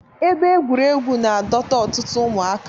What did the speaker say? Ebe egwuregwu na-adọta ọtụtụ ụmụaka.